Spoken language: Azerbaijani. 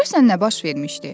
Görəsən nə baş vermişdi?